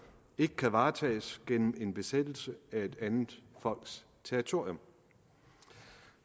ikke kan varetages gennem en besættelse af et andet folks territorium